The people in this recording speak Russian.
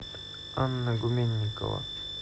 анна гуменникова